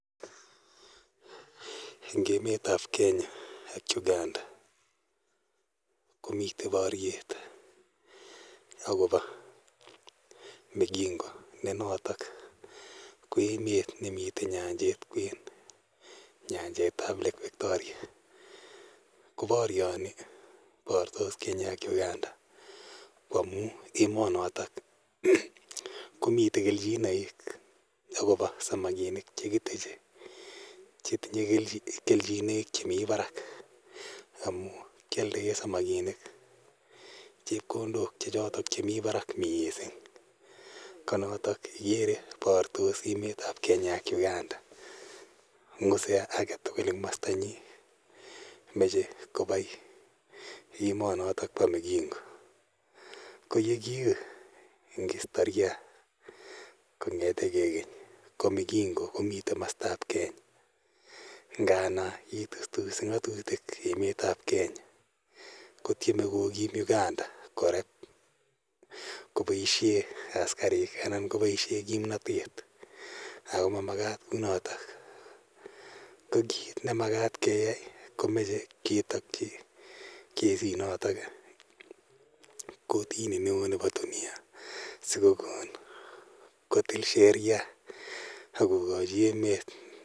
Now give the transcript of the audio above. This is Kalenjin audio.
Eng' emet ap Kenya ak Uganda komitei paryet akopa Migingo ne notok ko emet ne mitei nyanjet kwen, Nyanjet ap Lake Victoria. Ko paryani, partos Kenya ak Uganda ,ko amu emanotok komitei kelchinaik akopa samakinik che kiteche che tinye kelchinaik chemi parak amj kialdaei samakinim chepkondok che chotok che mi parak missing'. Ko notok ikere partos emet ap Kenya ak Uganda. Ng'use age tugul eng' komasta nyi, mache kopai emanotok pa Migingo. Ko ye kiu eng' istoria, kong'ete ge keny ko Migingo komitei komastap Kenya ngana itustusi ng'atitik emet ap Kenya. Ko tieme kokim Uganda korep kopaishe askarik anan kopaishe kimnatet akp ma makat kou notok. Ko ni makat keyai ko mache ketakchi kesinotok kotini neo nepo dunia si kokon kotil sheria ako kachi emet ne nenywa.